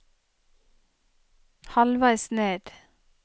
halvveis ned